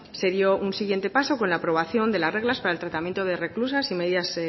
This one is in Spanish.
se dio un siguiente paso con la aprobación de las reglas para el tratamiento de reclusas y medidas